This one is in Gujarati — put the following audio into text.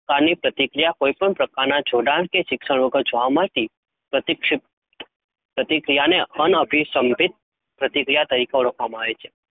પ્રકારની પ્રતિક્રિયા કોઈપણ પ્રકારના જોડાણ કે શિક્ષણ વગર જોવા મળતી પ્રતિક્ષિત પ્રતિક્રિયાને અન અભિસંધિત પ્રતિક્રિયા તરીકે ઓળખવામાં આવે છે.